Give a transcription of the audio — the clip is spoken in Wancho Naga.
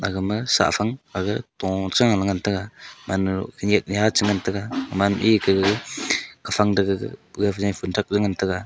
gama shahfang ag to cha ngaih ngantaga gaman a yeh ya che ngantaga gaman ee kah gag gafang dah gag gag fumthak jau ngantaga.